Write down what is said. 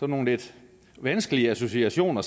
nogle lidt vanskelige associationer